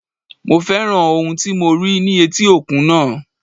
Mo féràn ohun tí mo rí ní etí òkun náà.